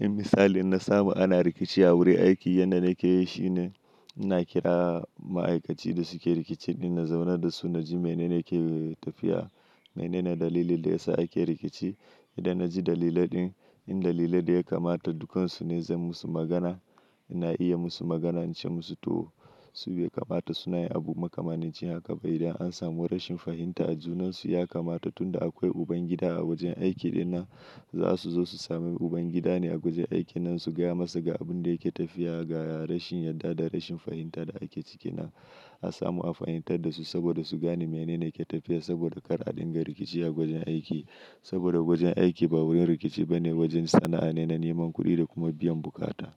In misali na samu ana rikici a wurin aiki yadda na ke yi shine, na kira ma'aikaci da su ke rikici ina zauna da su na ji mene ne ke tafiya, mene ne dalilin da ya sa ake rikici. Idan na ji dalilin din, in dalilin da ya kamata dukkansu ne zan musu magana, ina iya musu magana na ce musu to su bai kamata su na yi abu makamancin haka ba. Idan an samu rashin fahimta a junansu ya kamata tunda akwai uban gida a wajen aiki dina, za su zo su sami uban gida ne a guje aiki nan su gaya masa ga abun da yake tafiya, ga rashin yarda da rashin fahimta da ake ciki nan. A samu a fahimtar dasu saboda su gane mene ne yake tafiya saboda kar a dinga rikici a gujen aiki. Saboda gujen aiki ba wurin rikici bane wajen sana'a ne na neman kuɗi da kuma biyan bukata.